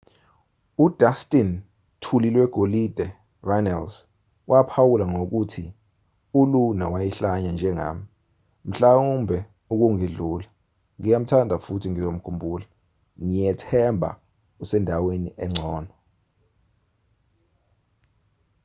u-dustin thulilwegolide” runnels waphawula ngokuthi uluna wayehlanya njengami...mhlawumbe ukungidlula...ngiyamthanda futhi ngizomkhumbula...ngiyethemba usendaweni engcono.